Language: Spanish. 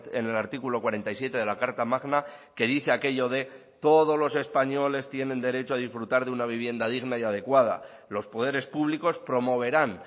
en el artículo cuarenta y siete de la carta magna que dice aquello de todos los españoles tienen derecho a disfrutar de una vivienda digna y adecuada los poderes públicos promoverán